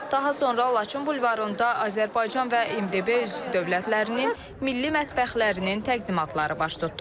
Daha sonra Laçın bulvarında Azərbaycan və MDB üzv dövlətlərinin milli mətbəxlərinin təqdimatları baş tutdu.